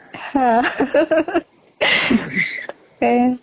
হা সেয়ে